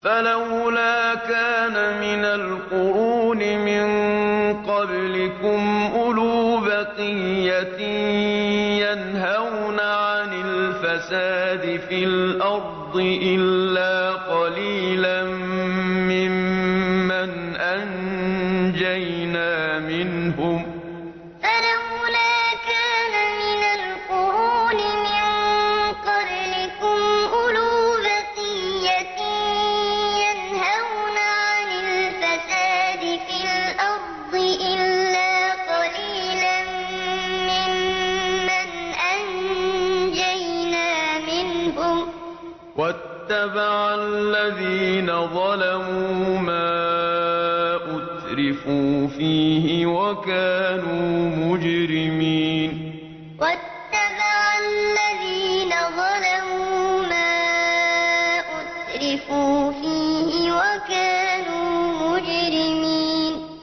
فَلَوْلَا كَانَ مِنَ الْقُرُونِ مِن قَبْلِكُمْ أُولُو بَقِيَّةٍ يَنْهَوْنَ عَنِ الْفَسَادِ فِي الْأَرْضِ إِلَّا قَلِيلًا مِّمَّنْ أَنجَيْنَا مِنْهُمْ ۗ وَاتَّبَعَ الَّذِينَ ظَلَمُوا مَا أُتْرِفُوا فِيهِ وَكَانُوا مُجْرِمِينَ فَلَوْلَا كَانَ مِنَ الْقُرُونِ مِن قَبْلِكُمْ أُولُو بَقِيَّةٍ يَنْهَوْنَ عَنِ الْفَسَادِ فِي الْأَرْضِ إِلَّا قَلِيلًا مِّمَّنْ أَنجَيْنَا مِنْهُمْ ۗ وَاتَّبَعَ الَّذِينَ ظَلَمُوا مَا أُتْرِفُوا فِيهِ وَكَانُوا مُجْرِمِينَ